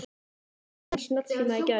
Ég keypti nýjan snjallsíma í gær.